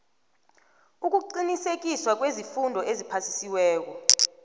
ukuqinisekiswa kweemfundo eziphasiweko